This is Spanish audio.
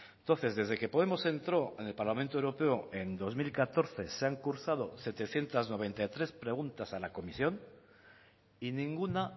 entonces desde que podemos entró en el parlamento europeo en dos mil catorce se han cursado setecientos noventa y tres preguntas a la comisión y ninguna